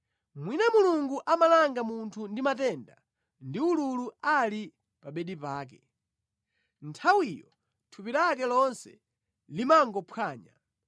“Mwina Mulungu amalanga munthu ndi matenda ndi ululu ali pa bedi pake, nthawiyo thupi lake lonse limangophwanya,